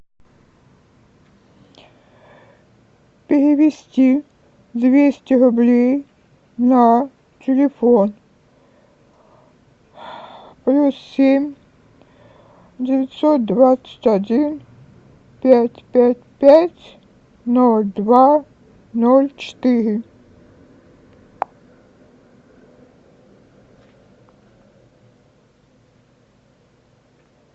перевести двести рублей на телефон плюс семь девятьсот двадцать один пять пять пять ноль два ноль четыре